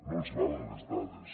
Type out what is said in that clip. no els valen les dades